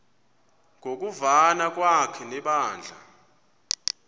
ngokuvana kwakhe nebandla